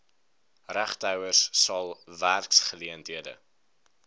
regtehouers sal werksgeleenthede